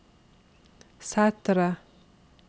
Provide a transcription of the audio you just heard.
Sætre